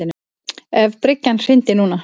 Ef bryggjan hryndi núna.